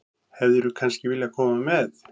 Hefðirðu kannski viljað koma með?